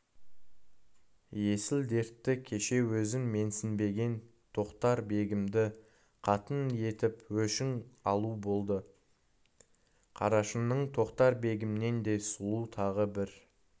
есіл-дерті кеше өзін менсінбеген тоқтар-бегімді қатын етіп өшін алу болды қарашыңның тоқтар-бегімнен де сұлу тағы бір